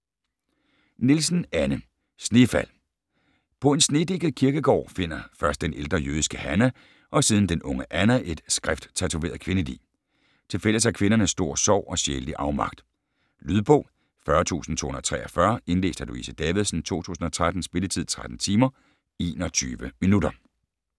Nielsen, Anne: Snefald På en snedækket kirkegård finder først den ældre jødiske Hannah, og siden den unge Anna, et skrifttatoveret kvindelig. Tilfælles har kvinderne stor sorg og sjælelig afmagt. Lydbog 40243 Indlæst af Louise Davidsen, 2013. Spilletid: 3 timer, 21 minutter.